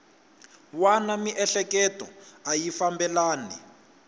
wana miehleketo a yi fambelani